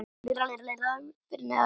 Á hæðinni fyrir neðan okkur.